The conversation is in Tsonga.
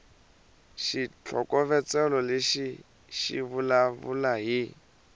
xitlhokovetselo lexi xi vulavula hi